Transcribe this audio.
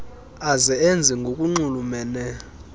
aze enze ngokunxulumene